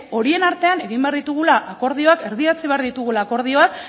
horien artean egin behar ditugula akordioak erdietsi behar ditugula akordioak